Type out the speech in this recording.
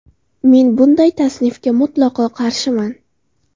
Men bunday tasnifga mutlaqo qarshiman.